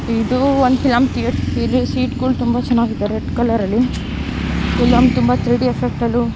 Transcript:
ಇದು ಒಂದು ಫಿಲಂ ಥೀಯ. ಇಲ್ಲಿ ಸೀಟ್ ಗಳು ತುಂಬಾ ಚೆನ್ನಾಗಿದೆ ರೆಡ್ ಕಲರ್ ಅಲ್ಲಿ. ಫಿಲಂ ತುಂಬಾ ಥ್ರೀ ಡಿ ಎಫೆಕ್ಟ್ ಅಲ್ಲು --